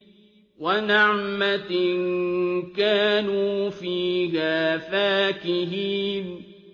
وَنَعْمَةٍ كَانُوا فِيهَا فَاكِهِينَ